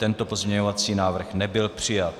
Tento pozměňující návrh nebyl přijat.